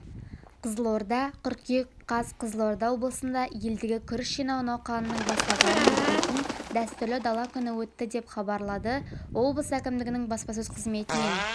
қызылорда қыркүйек қаз қызылорда облысында елдегі күріш жинау науқанының басталғанын білдіретін дәстүрлі дала күні өтті деп хабарлады облыс әкімдігінің баспасөз қызметінен